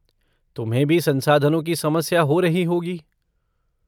तुम्हें भी संसाधनों की समस्या हो रही होगी।